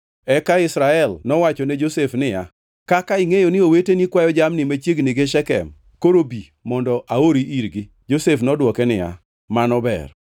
eka Israel nowacho ne Josef niya, “Kaka ingʼeyo ni oweteni kwayo jamni machiegni gi Shekem; koro bi mondo aori irgi.” Josef nodwoke niya, “Mano ber.”